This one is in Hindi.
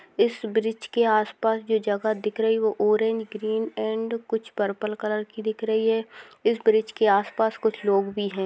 इस ब्रिज के आस पास जो जगह दिख रही है वो ऑरेंज ग्रीन एण्ड कुछ पर्पल कलर की दिख रही है इस ब्रिज के आस पास कुछ लोग भी है।